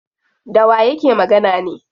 Dawa yake magana ne?